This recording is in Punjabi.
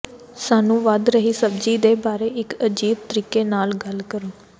ਸਾਨੂੰ ਵਧ ਰਹੀ ਸਬਜ਼ੀ ਦੇ ਬਾਰੇ ਇੱਕ ਅਜੀਬ ਤਰੀਕੇ ਨਾਲ ਗੱਲ ਕਰੋ